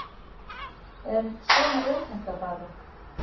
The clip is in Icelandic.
En svona er þetta bara